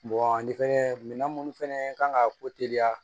an tɛ fɛnkɛ minan munnu fɛnɛ kan ka ko teliya